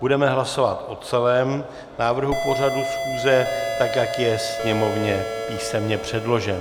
Budeme hlasovat o celém návrhu pořadu schůze, tak jak je Sněmovně písemně předložen.